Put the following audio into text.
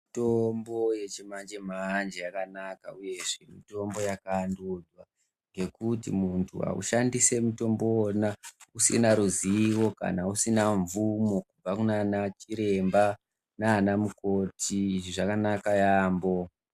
Mitombo yechimanje manje yakanaka uye yakavandudzwa yekuti munhu aushandisi mutombo uwona usina ruzivo kana usina mvumo kubva kunanachiremba naamukoti. Izvi zvakanaka yaamho.